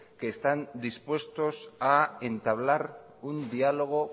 que están dispuestos a entablar un diálogo